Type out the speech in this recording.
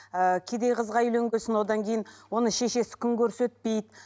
ы кедей қызға үйленген соң одан кейін оның шешесі күн көрсетпейді